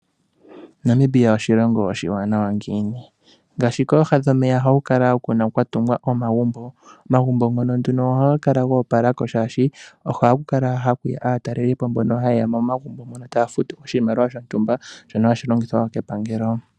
Namibia oshilongo oshiwanawa ngiini? Ngaashi kooha dhomeya ohaku kala kwa tungwa omagumbo. Omagumbo ngono haga kala ga opalako, shaashi ohaku haku yi aatalelipo mbono haye ya momagumbo mono taya futu oshimaliwa shontumba, shono hashi longithwa wo kepangelo.